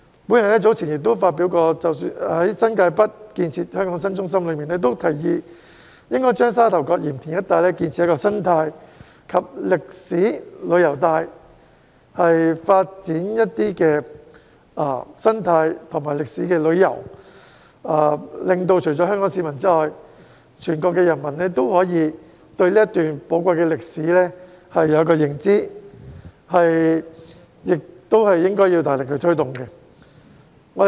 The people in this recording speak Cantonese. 我早前曾發表《新界北建設香港新中心倡議書》，建議應該在沙頭角鹽田一帶建設生態及歷史旅遊帶，發展生態和歷史旅遊，令到除了香港市民外，全國人民也可以對這段寶貴歷史有所認知，這亦應該要大力推動。